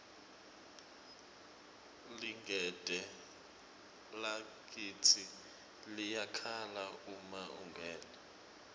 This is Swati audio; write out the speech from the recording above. ligede lakitsi liyakhala uma ungena